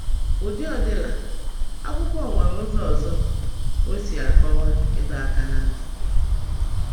Etu ọ dịla, akwụkwọ nwere ụzọ ọzọ o si akọwa ịdọ aka na ntị.